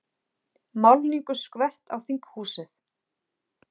Málningu skvett á þinghúsið